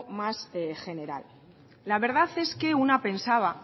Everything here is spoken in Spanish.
más general la verdad es que una pensaba